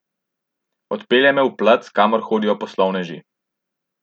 Odpelje me v plac, kamor hodijo poslovneži.